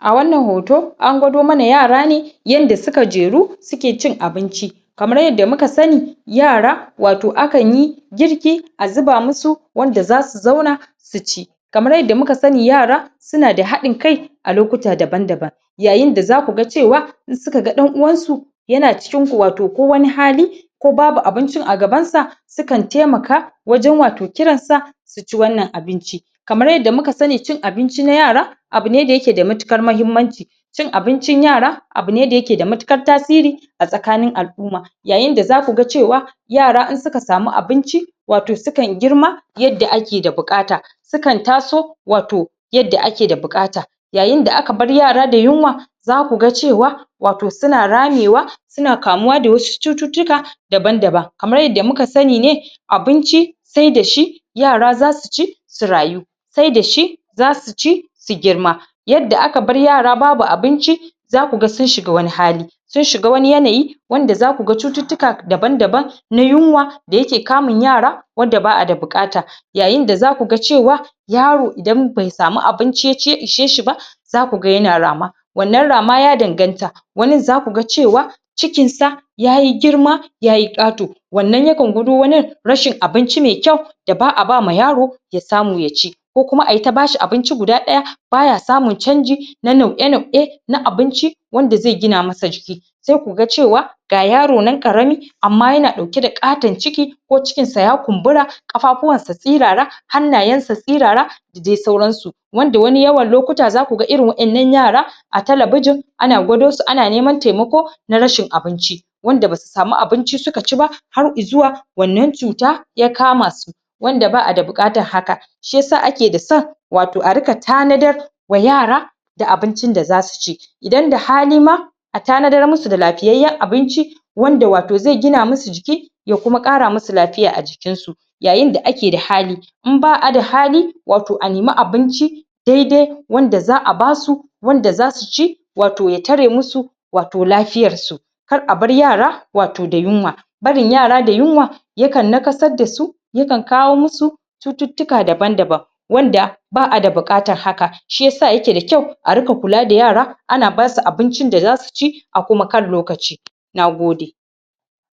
a wannan hoto an gwado mana yara ne yanda suka jeru suke cin abinci kamar yadda muka sani yara wato akan yi girki a zuba musu wanda za su zauna su ci kamar yadda muka sani yara suna da haɗin-kai a lokuta daban-daban yayin da za ku ga cewa in su ka ga ɗan uwansu yana cikinku wato ko wani hali ko babu abincin a gabansa su kan temaka wajen wato kiran sa su ci wannan abinci kamar yadda muka sani cin abinci na yara abu ne da yake da matukar mahimmanci cin abincin yara abu ne da yake da matukar tasiri a tsakanin al'uma yayin da za ku ga cewa yara in suka samu abinci wato su kan girma yadda ake da bukata su kan taso wato yadda ake da bukata yayin da aka bar yara da yunwa za ku ga cewa wato su na ramewa su na kamuwa da wasu cututtuka daban-daban kamar yadda muka sani ne abinci sai da shi yara za su ci su rayu sai da shi za su ci su girma yadda aka bar yara babu abinci za ku ga sun shiga wani hali sun shiga wani yanayi wanda za ku ga cututtuka daban-daban na yunwa da yake kamun yara wadda ba a da bukata yayin da za ku ga cewa yaro idan bai samu abinci ya ci ya ishe shi ba za ku ga yana rama wannan rama ya danganta wanin za ku ga cewa cikinsa ya yi girma ya yi ƙato wannan ya kan gwado wanin rashin abinci mai kyau da ba a ba ma yaro ya samu ya ci ko kuma a yi ta ba shi abinci guda ɗaya ba ya samun canji na nau'e-nau'e na abinci wanda ze gina masa jiki sai ku ga cewa ga yaro nan ƙarami amma yna ɗauke da ƙaton ciki ko cikinsa ya kumbura ƙafafuwansa sirara hannayensa sirara da de sauransu wanda wani yawan lokuta za ku ga irin waƴannan yara a Talabijin ana gwado su ana neman temako na rashin abinci wanda ba su samu abinci su ka ci ba har izuwa wannan cuta ya kama su wanda ba a da bukatar haka shi yasa ake da son wato a rika tanadar wa yara da abincin da za su ci idan da hali ma a tanadar musu da lafiyyan abinci wanda wato zai gina musu jiki ya kuma ƙara musu lafiya a jikinsu yayin da ake da hali in ba a da hali wato a nemi abinci daide wanda za a ba su wanda za su ci wato ya tare musu wato lafiyarsu kar a bar yara wato da yunwa barin yara da yunwa ya kan nakasar da su ya kan kawo musu cututtuka daban-daban wanda ba a da buƙatar haka shi yasa yake da kyau a rika kula da yara ana ba su abincin da za su ci a kuma kan lokaci na gode